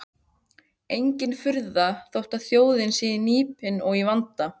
Engin furða þótt þjóðin sé hnípin og í vanda.